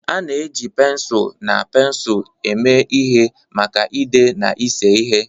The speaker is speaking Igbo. A na-eji pensụl na pensụl eme ihe maka ide na ịse ihe.